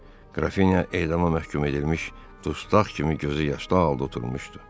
Qrafinya edama məhkum edilmiş dustaq kimi gözü yaşlı halda oturmuşdu.